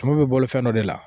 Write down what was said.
Tumu bɛ boli fɛn dɔ de la